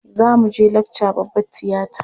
Za mu je lakca babbar tiyata.